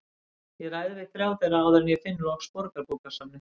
Ég ræði við þrjá þeirra áður en ég finn loks Borgarbókasafnið.